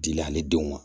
Dili ale denw ma